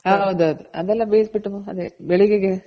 ಹೌದ್ ಹೌದ್ ಅದೆಲ್ಲ ಬೈಸ್ಬಿಟ್ಟು ಅದೇ ಬೆಳೆಗೆಗೆ